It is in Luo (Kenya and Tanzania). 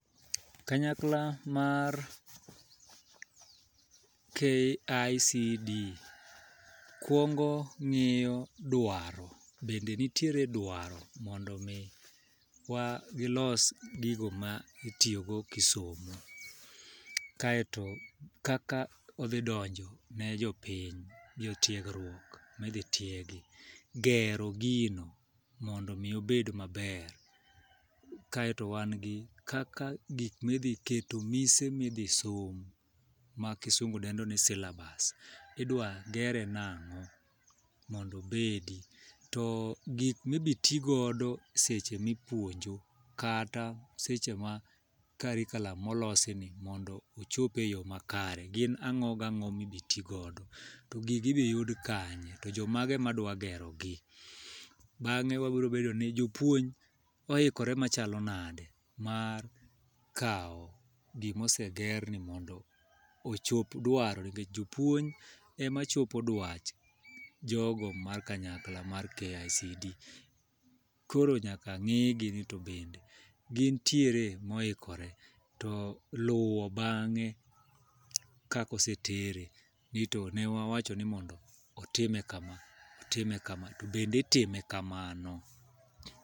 Kanyakla mar KICD kwongo ng'iyo dwaro, bende nitiere dwaro mondo mi wa gilos gigo ma itiyogo kisomo. Kaeto kaka odhi donjo ne jopiny, jo tiegruok midhi tiegi. Gero gino mondo mi obed maber. Kaeto wan gi kaka gik midhi keto mise midhi som, ma kisungu dendo ni syllabus. Idwa gere nang'o, mondo bedi. To gik mi bi ti godo seche mi puonjo kata seche ma karikalam molosi ni mondomochope yo ma kare. Gin ang'o gang'o mibi ti godo, to gigi idhi yud kanye to jo mage madwa gero gi? Bang'e wabro bedo ni jopuony oikore machalo nade mar kawo gimoseger ni mondo ochop dwaro? Nikech jopuony ema chopo dwach jogo mar kanyakla mar KICD, koro nyaka ng'igi ni to bende gintiere moikore? To luwo bang'e kakose tere, ni to ne wawacho ni mondo otime ka ma otime ka ma, to bende itime kamano?